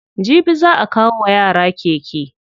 Jibi za'a kawo wa yara keke.